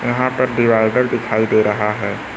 यहां पर डिवाइडर दिखाई दे रहा है।